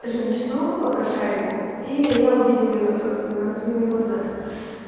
женщину попрошайку и я увидел её собственно своими глазами